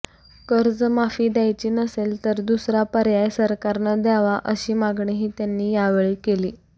कर्जमाफी द्यायची नसेल तर दुसरा पर्याय सरकारनं द्यावा अशी मागणीही त्यांनी यावेळी केली